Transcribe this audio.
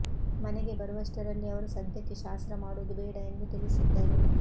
ಮನೆಗೆ ಬರುವಷ್ಟರಲ್ಲಿ ಅವರು ಸದ್ಯಕ್ಕೆ ಶಾಸ್ತ್ರ ಮಾಡುವುದು ಬೇಡ ಎಂದು ತಿಳಿಸಿದ್ದರು